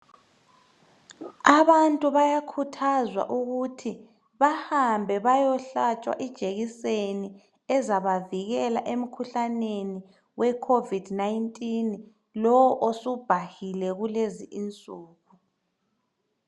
Abantu bayakhuthazwa ukuthi bahambe bayohlatshwa ijekiseni ezabavikela emkhuhlaneni we covid 19 lo osubhahile kulezi insuku.